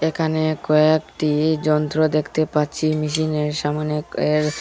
এখানে কয়েকটি যন্ত্র দেখতে পাচ্ছি মেশিনের সামোনে এর--